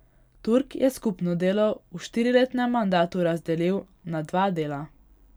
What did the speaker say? Turk je skupno delo v štiriletnem mandatu razdeli na dva dela.